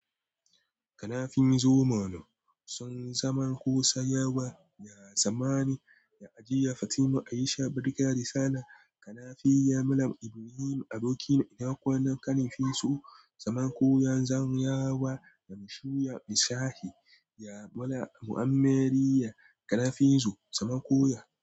Kanafizo Manu sun zaman kusa yawa. Ya zamani ya ajiya Fatima Aisha Birga Risana. Kanafiyo Malam Ibrahim aboki na ina kwanan Kanafizo zaman koya zan yawa ya mashu ya misahi ya Mala Muammar ya Kanafizo zaman koya.